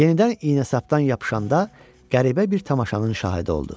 Yenidən iynəsapdan yapışanda qəribə bir tamaşanın şahidi oldu.